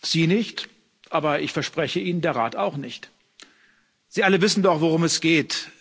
Sie nicht, aber ich verspreche Ihnen, der Rat auch nicht. Sie alle wissen doch, worum es geht.